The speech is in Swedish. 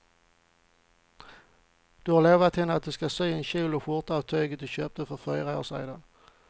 Du har lovat henne att du ska sy en kjol och skjorta av tyget du köpte för fyra år sedan.